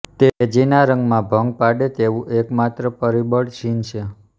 તેજીના રંગમાં ભંગ પાડે તેવું એકમાત્ર પરિબળ ચીન છે